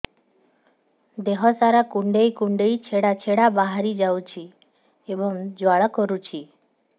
ଦେହ ସାରା କୁଣ୍ଡେଇ କୁଣ୍ଡେଇ ଛେଡ଼ା ଛେଡ଼ା ବାହାରି ଯାଉଛି ଏବଂ ଜ୍ୱାଳା କରୁଛି